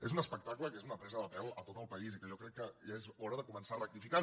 és un espectacle que és una presa de pèl a tot el país i que jo crec que ja és hora de començar a rectificar